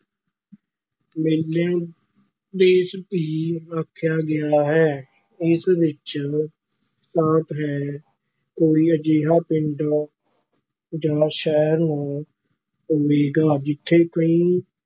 ਦੇਸ ਵੀ ਆਖਿਆ ਗਿਆ ਹੈ, ਇਸ ਵਿੱਚ ਸਾਫ਼ ਹੈ ਕੋਈ ਅਜਿਹਾ ਪਿੰਡ ਜਾਂ ਸ਼ਹਿਰ ਨੂੰ ਹੋਵੇਗਾ ਜਿੱਥੇ ਕੋਈ